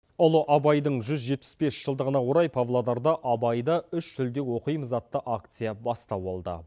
ұлы абайдың жүз жетпіс бес жылдығына орай павлодарда абайды үш тілде оқимыз атты акция бастау алды